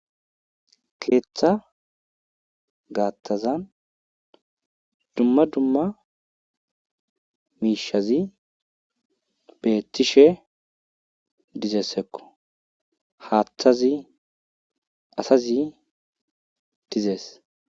keeththa gaathazan dumma dumma miishshati beetishe dizayssakko haaththzi asazi dizees.